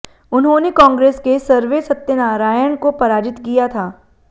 उन्होंने कांग्रेस के सरवे सत्यनारायण को पराजित किया था